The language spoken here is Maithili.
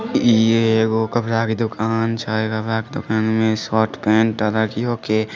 इ एगो कपड़ा के दूकान छै कपड़ा के दूकान में शर्ट पेंट --